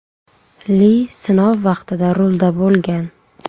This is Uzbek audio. Li sinov vaqtida rulda bo‘lgan.